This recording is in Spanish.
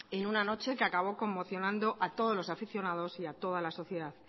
en una noche que acabó conmocionando a todos los aficionados y a toda la sociedad